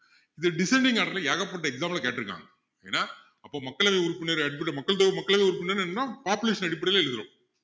இந்த descending order ல ஏகப்பட்ட exam ல கேட்டுருக்காங்க ஏன்னா அப்போ மக்களவை உறுப்பினர் அடிப்படை மக்கள் தொகை மக்களவை உறுப்பினர் எல்லாம் population அடிப்படையில எடுக்குறோம்